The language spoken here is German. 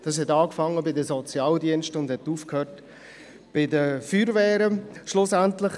Es begann bei den Sozialdiensten und hörte bei der Feuerwehr auf.